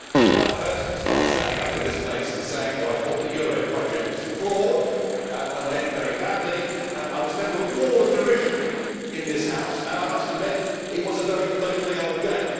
Mr President, when I first starting standing up in this place and saying that I thought the euro project was flawed and would end very badly, I was met with a wall of derision in this House, and I must admit it was a very lonely old game.